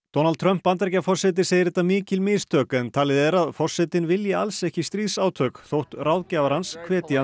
Donald Trump Bandaríkjaforseti segir þetta mikil mistök en talið er að forsetinn vilji alls ekki stríðsátök þótt ráðgjafar hans hvetji